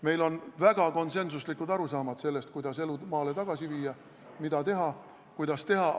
Meil on väga konsensuslikud arusaamad sellest, kuidas elu maale tagasi viia, mida teha ja kuidas teha.